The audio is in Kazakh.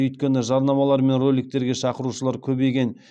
өйткені жарнамалар мен роликтерге шақырушылар көбейген